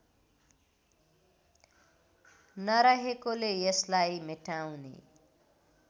नरहेकोले यसलाई मेटाउने